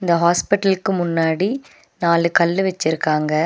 அ ஹாஸ்பிட்லுக்கு முன்னாடி நாலு கல்லு வெச்சிருக்காங்க.